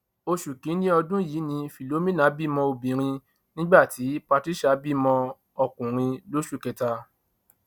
oṣù kìnínní ọdún yìí ni philomina bímọ obìnrin nígbà tí patricia bímọ ọkùnrin lóṣù kẹta